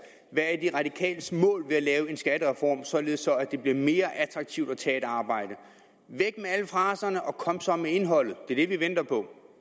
hvad de radikales mål er med at lave en skattereform således at det bliver mere attraktivt at tage et arbejde væk med alle fraserne og kom så med indholdet det er det vi venter på